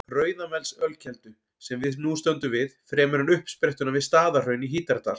Rauðamelsölkeldu, sem við nú stöndum við, fremur en uppsprettuna við Staðarhraun í Hítardal.